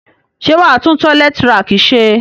Sé wàá tun toilet rack se?